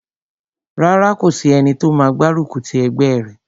Rárá, kò sí ẹni tó máa gbárùkù ti ẹgbẹ́ rẹ̀